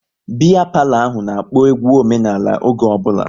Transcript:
Biya palo ahụ n'akpo egwu omenala oge ọ bụla